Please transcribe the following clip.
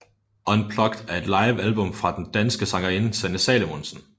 Unplugged er et livealbum fra den danske sangerinde Sanne Salomonsen